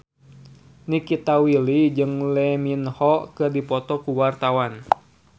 Nikita Willy jeung Lee Min Ho keur dipoto ku wartawan